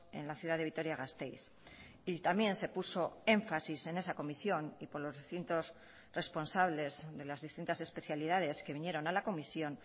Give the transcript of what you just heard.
en la ciudad de vitoria gasteiz y también se puso énfasis en esa comisión y por los distintos responsables de las distintas especialidades que vinieron a la comisión